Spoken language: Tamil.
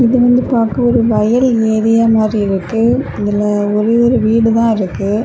இத வந்து பாக்க ஒரு வயல் நெறியன் மாறி இருக்கு அதுல ஒரே ஒரு வீடு தான் இருக்கு.